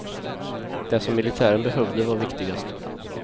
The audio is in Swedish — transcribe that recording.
Det som militären behövde var viktigast.